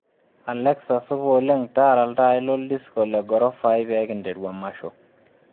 Alexa supa oleng taara iltai lo disco le gorofa ai pee nkiteru emasho